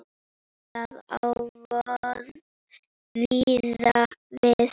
Það á víða við.